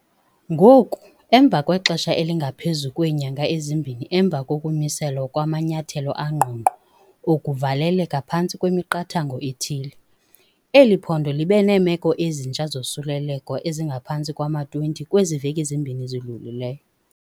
Ngoku, emva kwexesha elingaphezu kweenyanga ezimbini emva kokumiselwa kwamanyathelo angqongqo okuvaleleka phantsi kwemiqathango ethile, eli phondo libe neemeko ezintsha zosuleleko ezingaphantsi kwama-20 kwezi veki zimbini zidlulileyo.